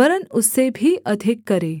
वरन् उससे भी अधिक करे